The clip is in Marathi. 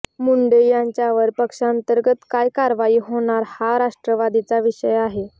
मुंडे यांच्यावर पक्षातंर्गत काय कारवाई होणार हा राष्ट्रवादीचा विषय आहे